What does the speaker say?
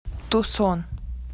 тусон